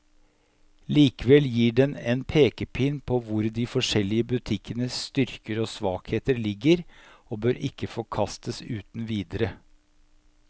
Likevel gir den en pekepinn på hvor de forskjellige butikkenes styrker og svakheter ligger, og bør ikke forkastes uten videre.